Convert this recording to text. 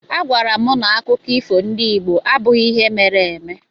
A gwaara m na akụkọ ifo ndị Igbo abụghị ihe mere eme.